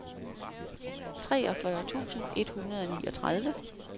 treogfyrre tusind et hundrede og niogtredive